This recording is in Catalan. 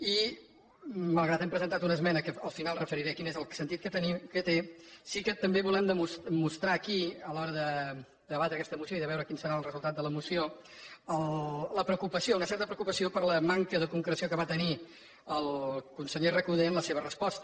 i malgrat que hem presentat una esmena que al final referiré quin és el sentit que té sí que també volem mostrar aquí a l’hora de debatre aquesta moció i de veure quin serà el resultat de la moció la preocupació una certa preocupació per la manca de concreció que va tenir el conseller recoder en la seva resposta